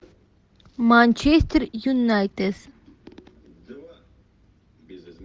манчестер юнайтед